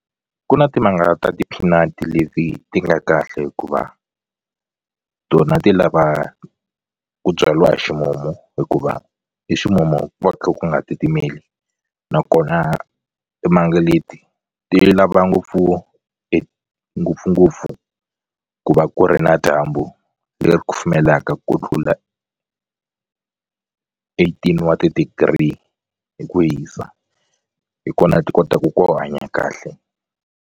Ku na timanga ta ti-peanut leti ti nga kahle hikuva tona ti lava ku byaliwa hi ximumu hikuva hi ximumu ku va kha ku nga titimeli nakona timanga leti ti lava ngopfu ngopfungopfu ku va ku ri na dyambu leri kufumelaka ku tlula eighteen wa ti-degree hi ku hisa hi kona ti kotaku ku hanya kahle.